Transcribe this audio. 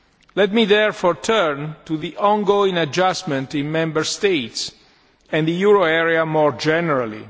Let me therefore turn to the ongoing adjustment in Member States and the euro area more generally.